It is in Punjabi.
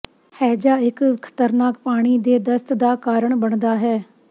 ਹੈਜ਼ਾ ਇੱਕ ਖ਼ਤਰਨਾਕ ਪਾਣੀ ਦੇ ਦਸਤ ਦਾ ਕਾਰਨ ਬਣਦਾ ਹੈ